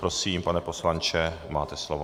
Prosím, pane poslanče, máte slovo.